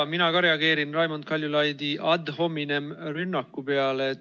Ka mina reageerin Raimond Kaljulaidi ad hominem rünnaku peale.